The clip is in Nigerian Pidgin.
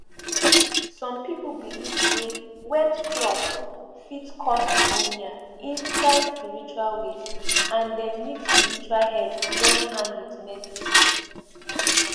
some people believe say wet cloth fit cause pneumonia inside spiritual ways and dem need spiritual help join hand with medicine